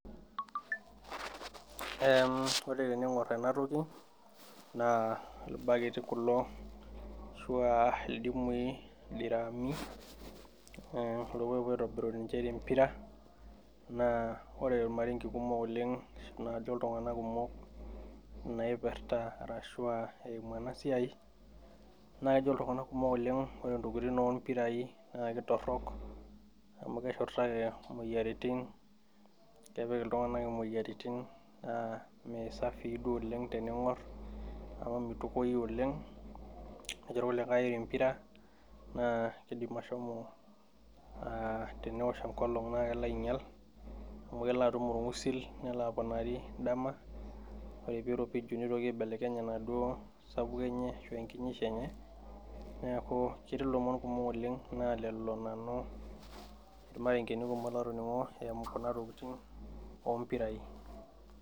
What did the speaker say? Ore teningor ena tokiti naa irbaketi kulo ashua ildimui, ildiraami. Irkokoyo oopuo aitobiru ninche tempira. Ore irmaarenke kumok oleng naajo iltunganak kumok naipirta arashua eimu ena siai naa kejo iltunganak kumok lleng ore intokitin oompirai naa keitorok amu keshurtaki imoyiaritin kepik iltunganak imoyiaritin imesapii duo oleng teningor meitukuoi oleng. Kejo kulikai empira naa keidim ashomo aa tenewosh enkolong naa kelo naa kelo ainyial atum orgusil, nelo aponari dama ore peyie eiropiju neitoki aibelekeny ebaduo sapuko enye ashuu enkinyisho enye. Niaku ketii ilomon kumok oleng naa lelo nanu irmarenkeni kumok latoningo eimu kuna tokitin oompirai